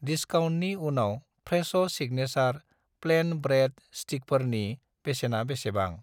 दिस्काउन्टनि उनाव फ्रेस' सिगनेसार प्लेन ब्रेड स्टिकफोरनि बेसेना बेसेबां?